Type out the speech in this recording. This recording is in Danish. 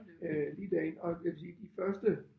Øh lige derind og jeg vil sige de første